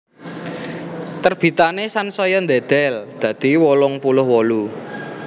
Terbitané sansaya ndedel dadi wolung puluh wolu